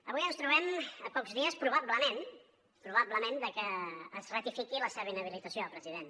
avui ens trobem a pocs dies probablement probablement de que es ratifiqui la seva inhabilitació president